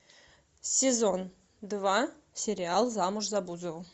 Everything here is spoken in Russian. сезон два сериал замуж за бузову